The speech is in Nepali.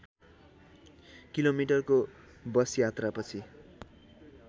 किलोमिटरको बस यात्रापछि